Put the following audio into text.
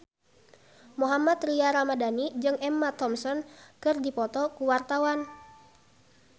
Mohammad Tria Ramadhani jeung Emma Thompson keur dipoto ku wartawan